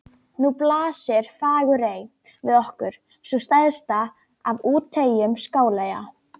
Nú blasir Fagurey við okkur, sú stærsta af úteyjum Skáleyja.